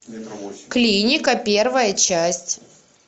клиника первая часть